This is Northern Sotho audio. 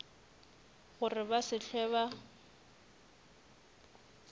gore ba se hlwe ba